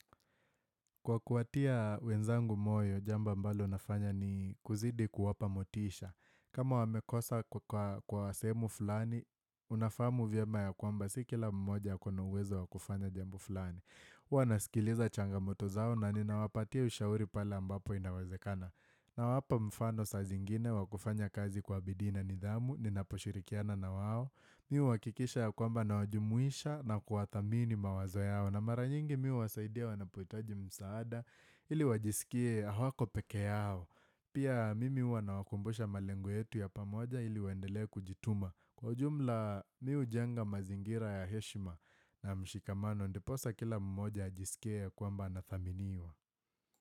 Kwa kuwatia wenzangu moyo, jambo ambalo nafanya ni kuzidi kuwapa motisha. Kama wamekosa kwa wa sehemu fulani, unafahamu vyema ya kwamba si kila mmoja ako uwezo wakufanya jambo fulani. Huw nasikiliza changamoto zao na ninawapatia ushauri pale ambapo inawezekana. Nawapa mfano saa zingine wakufanya kazi kwa bidii na nidhamu, ninaposhirikiana na wao. Mimi uhakikisha ya kwamba nawajumuisha na kuwathamini mawazo yao na mara nyingi mimi huwasaidia wanapohitaji msaada ili wajisikie hawako pekee yao Pia mimi huwa nawakumbusha malengo yetu ya pamoja ili waendelee kujituma Kwa jumla mimi hujenga mazingira ya heshima na mshikamano Ndiposa kila mmoja ajisikie ya kwamba na athaminiwa.